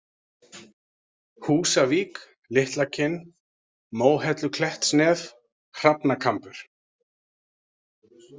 Húsavík, Litlakinn, Móhelluklettsnef, Hrafnakambur